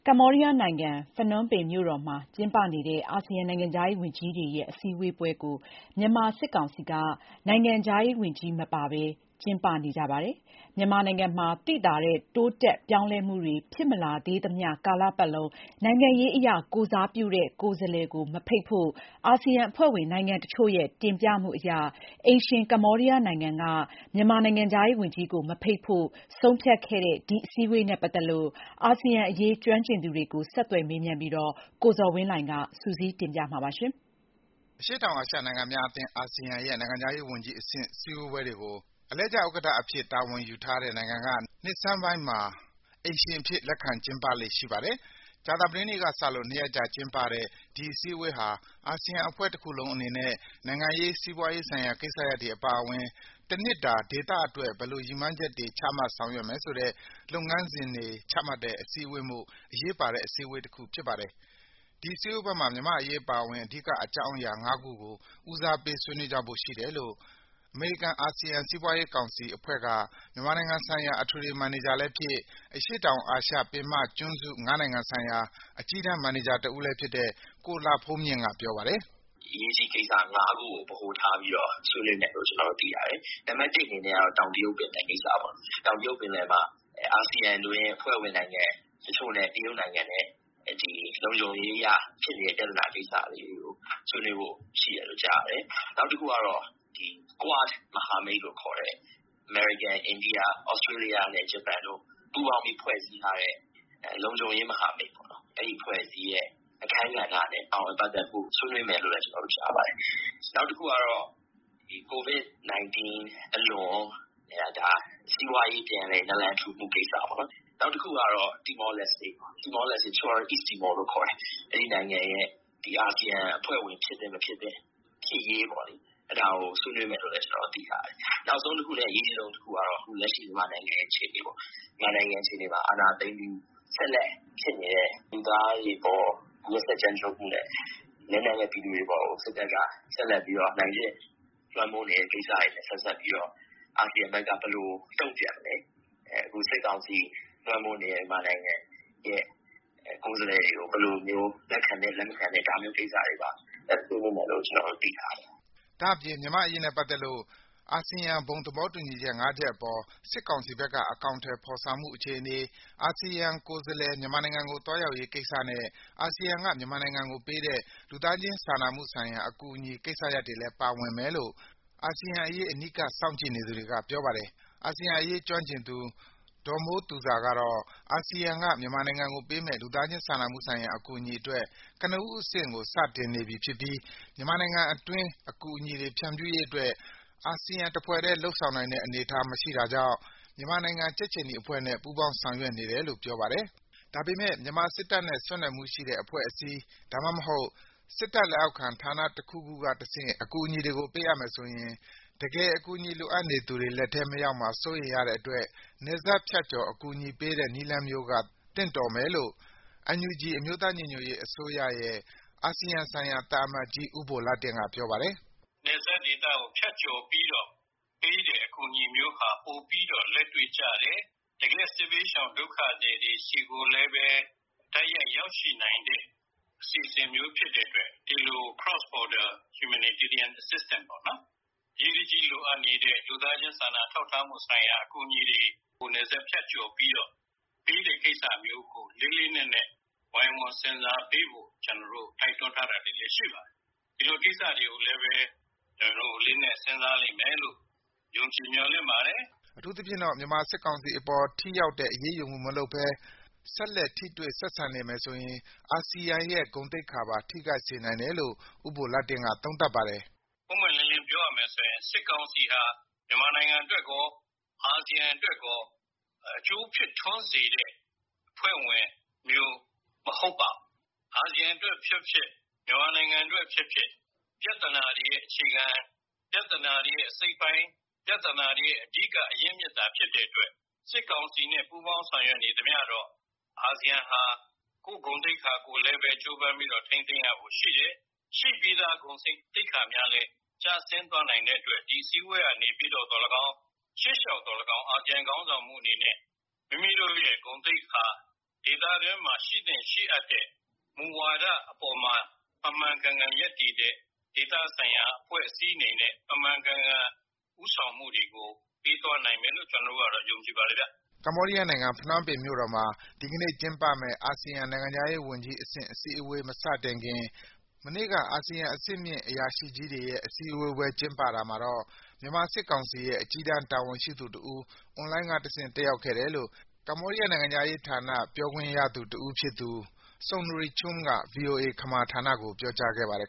ကမ္ဘောဒီးယားနိုင်ငံ၊ ဖနွမ်းပင်မြို့တော်မှာ ကျင်းပေနတဲ့ အာဆီယံ နိုင်ငံခြားရေးဝန်ကြီးတွေရဲ့ အစည်းဝေးပွဲကို မြန်မာစစ်ကောင်စီ နိုင်ငံခြားရေးဝန်ကြီးမပါဘဲ ကျင်းပနေကြပါတယ်။ မြန်မာနိုင်ငံမှာ သိသာတဲ့ တိုးတက် ပြောင်းလဲမှုတွေ ဖြစ်မလာသေးသမျှ ကာလပတ်လုံး နိုင်ငံရေးအရ ကိုယ်စားပြုတဲ့ ကိုယ်စားလှယ်ကို မဖိတ်ဖို့ အာဆီယံအဖွဲ့ဝင်နိုင်ငံတချို့ရဲ့ တင်ပြမှုအရ အိမ်ရှင် ကမ္ဘောဒီးယားနိုင်ငံက မြန်မာနိုင်ငံခြားရေးဝန်ကြီးကိုမဖိတ်ဖို့ ဆုံးဖြတ်ခဲ့တဲ့ ဒီအစည်းအဝေးနဲ့ ပတ်သက်လို့ အာဆီယံအေရး ကျွမ်းကျင်သူတွေကို ဆက်သွယ် မေးမြန်းပြီး ကိုဇော်ဝင်းလှိုင်က စုစည်းတင်ပြေပးထားပါတယ်။ အရှေ့တောင်အာရှနိုင်ငံများအသင်း - အာဆီယံရဲ့ နိုင်ငံခြားရေးဝန်ကြီးအဆင့် စည်းဝေးပွဲတွေကို အလှည့်ကျ ဥက္ကဋ္ဌအဖြစ် တာဝန်ယူရတဲ့နိုင်ငံက နှစ်ဆန်းပိုင်းမှာ အိမ်ရှင်အဖြစ် လက်ခံကျင်းပလေ့ ရှိပါတယ်။ ကြာသပတေးနေ့ကစလို့ ၂ ရက်ကြာ ကျင်းပတဲ့ ဒီအစည်းဝေးဟာ အာဆီယံအဖွဲ့တခုလုံး အနေနဲ့ နိုင်ငံရေး၊ စီးပွားရေးဆိုင်ရာ ကိစ္စရပ်တွေအပါအဝင် တနှစ်တာ ဒေသအတွက် ဘယ်လို ရည်မှန်းချက်တွေ ချမှတ်ဆောင်ရွက်မယ်ဆိုတဲ့ လုပ်ငန်းစဉ်တွေ ချမှတ်တဲ့အစည်းဝေးမို့ အရေးပါတဲ့ အစည်းအေဝးတခုဖြစ်ပါတယ်။ ဒီစည်းဝေးပွဲမှာ မြန်မာ့အရေးအပါအဝင် အဓိက အကြောင်းအရာ (၅) ခုကို ဦးစားပေး ဆွေးနွေးကြဖို့ရှိတယ်လို့ အမေရိကန်-အာဆီယံ စီးပွားရေးကောင်စီအဖွဲ့က မြန်မာနိုင်ငံဆိုင်ရာ အထွေထွေ မန်နေဂျာလည်းဖြစ်၊ အရှေ့တောင်အာရှ ပင်မကျွန်းစု ၅ နိုင်ငံဆိုင်ရာ အကြီးတန်း မန်နေဂျာလည်းဖြစ်တဲ့ ကိုလှဘုန်းမြင့်က ပြောပါတယ်။ “အရေးကြီးကိစ္စ (၅) ခုကို ဗဟိုထားပြီးတော့ ဆွေးနွေးမယ်လို့ ကျနော်တို့ သိရတယ်။ နံပါတ်တစ်အနေနဲ့ကတော့ တောင်တရုတ်ပင်လယ်ကိစ္စပေါ့။ တောင်တရုတ်ပင်လယ်မှာ အာဆီယံအတွင်း အဖွဲ့ဝင်နိုင်ငံတချို့နဲ့ တရုတ်နိုင်ငံနဲ့ ဒီလုံခြုံရေးအရ ဖြစ်နေတဲ့ ပြဿနာကိစ္စတွေ ဆွေးနွေးဖို့ရှိတယ်လို့ ကြားရတယ်။ နောက်တခုကေတာ့ Quad မဟာမိတ်လို့ခေါ်တဲ့ အမေရိကန်၊ အိန္ဒိယ၊ သြစတြေးလျနဲ့ ဂျပန်တို့ ပူးပေါင်းပြီး ဖွဲ့စည်းထားတဲ့ လုံခြုံရေး မဟာမိတ်ပေါ့နော်။ အဲဒီအဖွဲ့အစည်းရဲ့ အခန်းကဏ္ဍနဲ့ ပါဝင်ပတ်သက်မှုကို ဆွေးနွေးမယ်လို့လည်း ကျနော်တို့ ကြားရပါတယ်။ နောက်တခုကေတာ့ ကိုဗစ်-၁၉ အလွန် စီးပွားရေး ပြန်လည် နာလန်ထူမှု ကိစ္စပေါ့နော်။ နောက်တခုကေတာ့ Timor Leste ပေါ့၊ တချို့ ကတော့ East Timor လို့ ခေါ်တယ်။ အဲဒီနိုင်ငံရဲ့ အာဆီယံအဖွဲ့ဝင် ဖြစ်သင့် မဖြစ်သင့်၊ ဖြစ်ရေးပေါ့လေ၊ အဲဒါကို ဆွေးနွေးမယ်လို့လည်း ကျနော်တို့ သိထားရတယ်။ နောက်ဆုံးတခုနဲ့ အရေးအကြီးဆုံး တခုကတော့ အခု လက်ရှိ မြန်မာနိုင်ငံရဲ့ အခြေအေနေပါ့။ မြန်မာနိုင်ငံ အခြေအနေမှာ အာဏာသိမ်းပြီး ဆက်လက် ဖြစ်နေတဲ့ လူသားတွေအေပါ် ရက်စက် ကြမ်းကြုတ်မှုနဲ့ လက်နက်မဲ့ ပြည်သူတွေအေပါ်ကို စစ်တပ်က ဆက်လက်ပြီးတော့ အနိုင်ကျင့် လွှမ်းမိုးနေတဲ့ကိစ္စတွေနဲ့ ဆက်စပ်ပြီးတော့ အာဆီယံဘက်က ဘယ်လို တုံ့ပြန်မလဲ၊ အခု စစ်ကောင်စီ လွှမ်းမိုးနေတဲ့ မြန်မာနိုင်ငံရဲ့ ကိုယ်စားလှယ်တွေကို ဘယ်လိုမျိုး လက်ခံမယ်၊ လက်မခံဘူး ဒါမျိုးကိစ္စတွေပါ ဆွေးနွေးမယ်လို့ ကျနော်တို့ သိထားရပါတယ်။” ဒါ့အပြင် မြန်မာ့အရေးနဲ့ပတ်သက်လို့ အာဆီယံ ဘုံသဘောတူညီချက် ၅ ချက်အပေါ် စစ်ကောင်စီဘက်က အကောင်အထည်ဖော်ဆောင်မှု အခြေအနေ၊ အာဆီယံကိုယ်စားလှယ် မြန်မာနိုင်ငံကိုသွားရောက်ရေးကိစ္စနဲ့ အာဆီယံက မြန်မာနိုင်ငံကိုပေးတဲ့ လူသားချင်းစာနာမှုဆိုင်ရာ အကူအညီကိစ္စရပ်တွေလည်း ပါဝင်မယ်လို့ အာဆီယံအရေး အနီးကပ် စောင့်ကြည့်နေသူတွေက ပြောပါတယ်။ အာဆီယံအရေးကျွမ်းကျင်သူ ဒေါ်မိုးသူဇာကေတာ့ အာဆီယံက မြန်မာနိုင်ငံကိုပေးမယ့် လူသားချင်းစာနာမှုဆိုင်ရာ အကူအညီအတွက် ကနဦးအဆင့်ကို စတင်နေပြီဖြစ်ပြီး မြန်မာနိုင်ငံအတွင်း အကူအညီတွေ ဖြန့်ဖြူးရေးအတွက် အာဆီယံတဖွဲ့တည်း လုပ်ဆောင်နိုင်တဲ့ အနေအထား မရှိတဲ့အတွက် မြန်မာနိုင်ငံ ကြက်ခြေနီအဖွဲ့နဲ့ ပူးပေါင်းဆောင်ရွက်နေတယ်လို့ ပြောပါတယ်။ ဒါပေမယ့် မြန်မာစစ်တပ်နဲ့ ဆက်နွယ်မှုရှိတဲ့ အဖွဲ့အစည်း၊ ဒါမှမဟုတ် စစ်တပ်လက်အောက်ခံဌာနတခုခုကတဆင့် အကူအညီတွေကို ပေးမယ်ဆိုရင် တကယ် အကူအညီလိုအပ်နေသူတွေလက်ထဲ မရောက်မှာ စိုးရိမ်ရတဲ့အတွက် နယ်စပ်ဖြတ်ကျော် အကူအညီပေးတဲ့ နည်းလမ်းမျိုးက သင့်တော်မယ်လို့ NUG အမျိုးသားညီညွတ်ရေးအစိုးရရဲ့ အာဆီယံဆိုင်ရာ သံအမတ်ကြီး ဦးဘိုလှတင့်က ပြောပါတယ်။ “နယ်စပ်ဒေသကို ဖြတ်ကျော်ပြီးတော့ ပေးတဲ့အကူအညီမျိုးဟာ ပိုပြီးတော့ လက်တွေ့ကျတယ်။ တကယ့်စစ်ဘေးရှောင် ဒုက္ခသည်တွေဆီကိုလည်းဘဲ တိုက်ရိုက် ရောက်ရှိနိုင်တဲ့ အစီအစဉ်မျိုး ဖြစ်တဲ့အတွက် ဒီလို Cross border humanitarian assistant ပေါ့နော်၊ အရေးတကြီးလိုအပ်နေတဲ့ လူသားချင်းစာနာထောက်ထားမှုဆိုင်ရာ အကူအညီတွေကို နယ်စပ် ဖြတ်ကျော်ပြီးတော့ ပေးတဲ့ကိစ္စမျိုးကို လေးလေးနက်နက် ဝိုင်းဝန်း စဉ်းစားပေးဖို့ ကျနော်တို့ တိုက်တွန်းထားတာတွေလည်း ရှိပါတယ်။ ဒီလို ကိစ္စတွေကိုလည်းပဲ အလေးအနက် စဉ်းစားလိမ့်မယ်လို့ ယုံကြည် မျှော်လင့်ပါတယ်။” အထူးသဖြင့်တော့ မြန်မာစစ်ကောင်စီအေပါ် ထိရောက်တဲ့ အရေးယူမှု မလုပ်ဘဲ ဆက်လက် ထိတွေ့ ဆက်ဆံနေမယ်ဆိုရင် အာဆီယံရဲ့ ဂုဏ်သိက္ခာပါ ထိခိုက်စေနိုင်တယ်လို့ ဦးဘိုလှတင့်က သုံးသပ်ပါတယ်။ “ပွင့်ပွင့်လင်းလင်း ပြောရမယ်ဆိုရင် စစ်ကောင်စီဟာ မြန်မာနိုင်ငံအတွက်ရော အာဆီယံအတွက်ရော အကျိုးဖြစ်ထွန်းစေတဲ့ အဖွဲ့ဝင်မျိုး မဟုတ်ပါဘူး။ အာဆီယံအတွက် ဖြစ်ဖြစ်၊ မြန်မာနိုင်ငံအတွက်ဖြစ်ဖြစ် ပြဿနာတွေရဲ့ အခြေခံ၊ ပြဿနာတွေရဲ့ အစိတ်အပိုင်း၊ ပြဿနာတွေရဲ့ အဓိက အရင်းအမြစ်သာ ဖြစ်တဲ့အတွက် စစ်ကောင်စီနဲ့ ပူးပေါင်း ဆောင်ရွက်နေသမျှတော့ ဒီ အာဆီယံဟာ ကိုယ့်ဂုဏ်သိက္ခာကိုလည်း ကြိုးပမ်းပြီးတော့ ထိန်းသိမ်းရဖို့ရှိတယ်။ ရှိပြီးသား ဂုဏ်သိက္ခာများလည်း ကျဆင်းသွားနိုင်တဲ့အတွက် ဒီအစည်းအေဝးကနေပြီးတော့ သော်လည်းကောင်း၊ ရှေ့လျှောက်သော်လည်းကောင်း အာဆီယံ ခေါင်းဆောင်မှုအနေနဲ့ မိမိတို့ရဲ့ ဂုဏ်သိက္ခာ၊ ဒေသတွင်းမှာ ရှိသင့်ရှိအပ်တဲ့ မူဝါဒအပေါ်မှာ မှန်မှန်ကန်ကန် ရပ်တည်တဲ့ ဒေသဆိုင်ရာ အဖွဲ့အစည်းအနေနဲ့ မှန်မှန်ကန်ကန် ဦးဆောင်မှုတွေကို ပေးသွားနိုင်လိမ့်မယ်လို့ ကျနော်တို့ကတော့ ယုံကြည်ပါတယ်ဗျ။” ကမ္ဘောဒီးယားနိုင်ငံ၊ ဖနွမ်းပင်မြို့တော်မှာ ဒီကနေ့ကျင်းပမယ့် အာဆီယံနိုင်ငံခြားရေးဝန်ကြီး အစည်းအဝေး (AMM) မစတင်ခင် မနေ့က အာဆီယံ အဆင့်မြင့်အရာရှိကြီးတွေရဲ့ အစည်းအဝေးပွဲ ကျင်းပတာမှာတော့ မြန်မာစစ်ကောင်စီရဲ့ အကြီးတန်း တာဝန်ရှိသူတဦး အွန်လိုင်းကတဆင့် တက်ရောက်ခဲ့တယ်လို့ ကမ္ဘောဒီးယားနိုင်ငံခြားရေးဌာန ပြောခွင့်ရတဦးဖြစ်သူ Sounry Chum က ဗွီအိုအေ ခမာဌာနကို ပြောကြားခဲ့ပါတယ်။